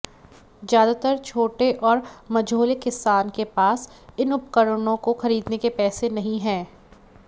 ज्यादातर छोटे और मझोले किसान के पास इन उपकरणों को खरीदने के पैसे नहीं हैं